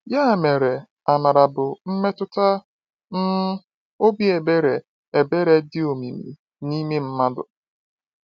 Ya mere, amara bụ mmetụta um obi ebere ebere dị omimi n’ime mmadụ.